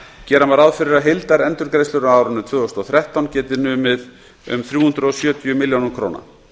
gera má ráð fyrir að heildarendurgreiðslur á árinu tvö þúsund og þrettán geti numið um þrjú hundruð sjötíu milljónum króna